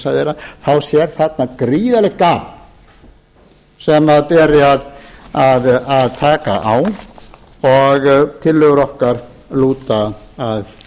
ýmissa þeirra sé þarna gríðarlegt gap sem beri að taka á og tillögur okkar lúta að því ég vil